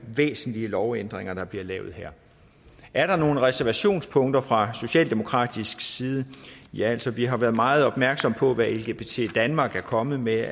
væsentlige lovændringer der bliver lavet her er der nogen reservationspunkter fra socialdemokratisk side ja altså vi har været meget opmærksomme på hvad lgbt danmark er kommet med